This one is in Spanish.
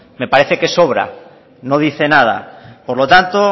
me parece que sobra no dice nada por lo tanto